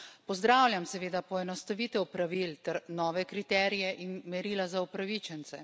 Pozdravljam seveda poenostavitev pravil ter nove kriterije in merila za upravičence.